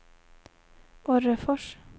Orrefors